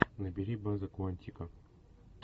набери база куантико